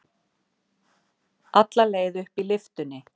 Alla leið upp í lyftunni.